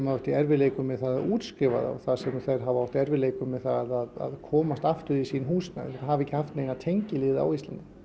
átt í erfiðleikum með að útskrifa það þar sem þeir hafa átt í erfiðleikum með að komast aftur í sín húsnæði hafa ekki haft neina tengiliði á Íslandi